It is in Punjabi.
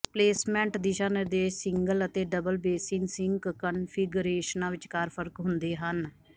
ਪਲੇਸਮੈਂਟ ਦਿਸ਼ਾ ਨਿਰਦੇਸ਼ ਸਿੰਗਲ ਅਤੇ ਡਬਲ ਬੇਸਿਨ ਸਿਿੰਕ ਕਨਫਿਗਰੇਸ਼ਨਾਂ ਵਿਚਕਾਰ ਫਰਕ ਹੁੰਦੇ ਹਨ